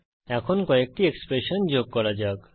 এখন কয়েকটি এক্সপ্রেশন যোগ করা যাক